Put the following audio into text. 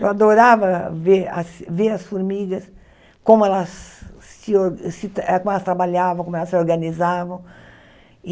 Eu adorava ver as ver as formigas, como elas se or se te como elas trabalhavam, como elas se organizavam.